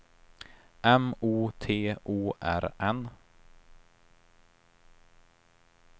M O T O R N